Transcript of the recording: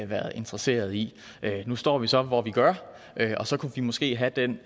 været interesseret i nu står vi så hvor vi gør og så kunne vi måske have den